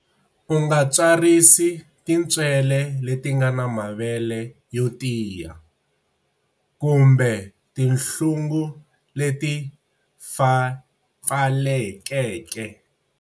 U nga tswarisi tintswele leti nga na mavele yo tiya, kumbe tinhlungu leti pfalekeke